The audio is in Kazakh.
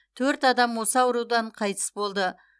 төрт адам осы аурудан қайтыс болды